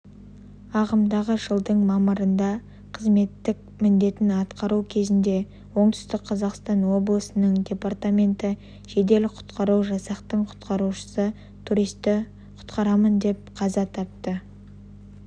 ағымдағы жылдың мамырында қызметтік міндетін атқару кезінде оңтүстік қазақстан облысының департаменті жедел-құтқару жасақтың құтқарушысы туристі құтқарамын деп қаза тапты